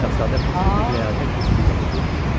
Şahzadə fitri bir ləyaqət hissi ilə dedi: